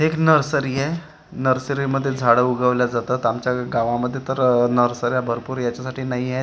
एक नर्सरी आहे नर्सरीमध्ये झाडं उगवले जातात आमच्या गावामध्ये तर आह नर्सर्या भरपूर याच्यासाठी नाहीएत --